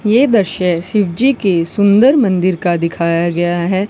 यह दृश्य शिवजी की सुंदर मंदिर का दिखाया गया है।